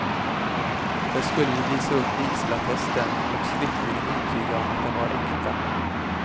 Där skulle vi visa upp vigselattesten och skriftligen intyga att den var äkta.